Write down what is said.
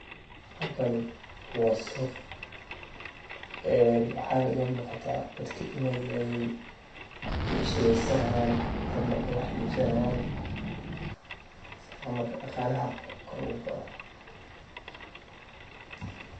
Halkani wa suuq een waxayna ilamugata dadka inay necshireysanayan ama ay wax ibsani xayan, sifo marka dagalaha kor ogukoco.